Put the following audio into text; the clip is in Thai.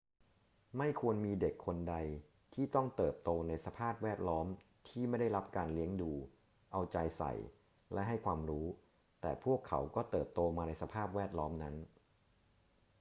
ไม่ควรมีเด็กคนใดที่ต้องเติบโตในสภาพแวดล้อมที่ไม่ได้รับการเลี้ยงดู เอาใจใส่ และให้ความรู้ แต่พวกเขาก็เติบโตมาในสภาพแวดล้อมนั้น